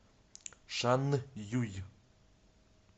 шанъюй